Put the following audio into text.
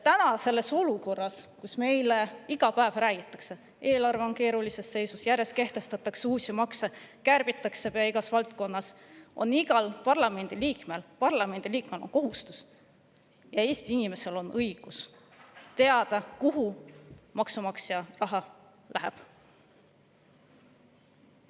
Praeguses olukorras, kus meile iga päev räägitakse, et eelarve on keerulises seisus, kus järjest kehtestatakse uusi makse ja kärbitakse pea igas valdkonnas, on iga parlamendiliikme kohustus ja iga Eesti inimese õigus teada, kuhu maksumaksja raha läheb.